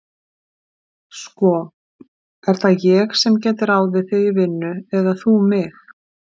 Sko, er það ég sem get ráðið þig í vinnu eða þú mig?